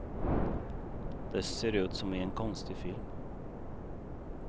Det ser ut som i en konstig film.